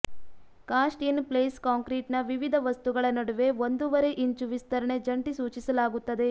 cost in place ಕಾಂಕ್ರೀಟ್ನ ವಿವಿಧ ವಸ್ತುಗಳ ನಡುವೆ ಒಂದೂವರೆ ಇಂಚು ವಿಸ್ತರಣೆ ಜಂಟಿ ಸೂಚಿಸಲಾಗುತ್ತದೆ